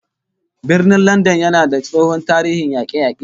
Birnin Landan yana da tsohon tarihin yake-yake